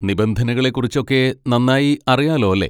നിബന്ധനകളെ കുറിച്ചൊക്കെ നന്നായി അറിയാലോ അല്ലെ?